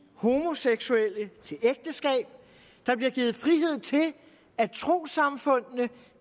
homoseksuelle til ægteskab der bliver givet frihed til at trossamfundene